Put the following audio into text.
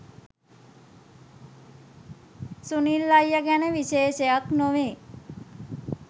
'සුනිල් අයියා ගැන විශේෂයක් නොවීය